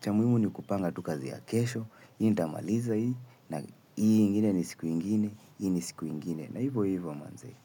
Cha muhimu ni kupanga tukazi ya kesho hii nitamaliza hii. Na hii ingine ni siku ingine. Hii ni siku ingine. Na hivyo hivyo manze.